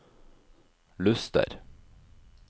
Luster